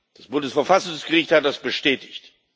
das Bundesverfassungsgericht hat das bestätigt.